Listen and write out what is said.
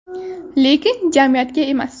Lekin jamiyatga emas.